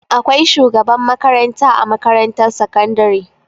Akwai shugaban makaranta a makarantar sakandari.